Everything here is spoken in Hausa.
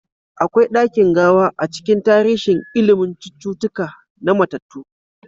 Akwai dakin gawa a cikin tarihin ilimin cututtuka na mattatu.